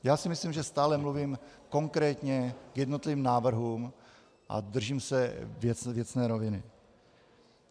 Já si myslím, že stále mluvím konkrétně k jednotlivým návrhům a držím se věcné roviny.